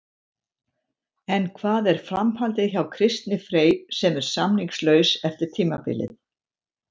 En hvað er framhaldið hjá Kristni Frey sem er samningslaus eftir tímabilið?